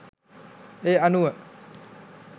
ඒ අනුව